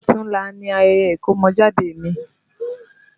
Ọ̀tunla ni ayẹyẹ ìkọ́mọjáde mi